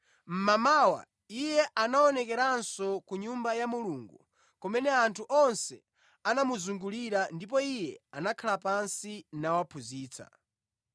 Mmamawa Iye anaonekeranso ku Nyumba ya Mulungu kumene anthu onse anamuzungulira ndipo Iye anakhala pansi nawaphunzitsa.